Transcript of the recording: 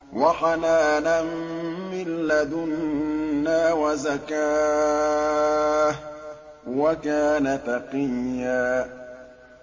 وَحَنَانًا مِّن لَّدُنَّا وَزَكَاةً ۖ وَكَانَ تَقِيًّا